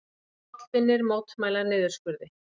Hollvinir mótmæla niðurskurði